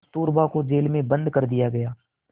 कस्तूरबा को जेल में बंद कर दिया गया